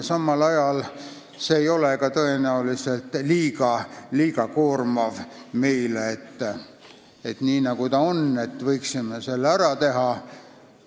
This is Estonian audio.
Samal ajal ei ole see meile ka liiga koormav olnud – me võime seda edasi teha.